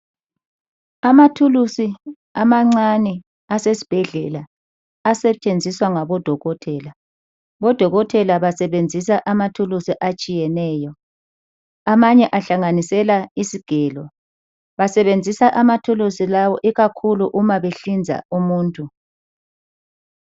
Amathulusi amancane asesibhedlela, asetshenziswa ngodokotela. Odokotela basebenzisa amathulusi atshiyeneyo Amanye ahlanganisela izigelo. Basebenzisa amathulusi lawo ikakhulu uma behlinza umuntu.